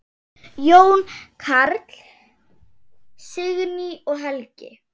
Jón Karl, Signý og Helgi.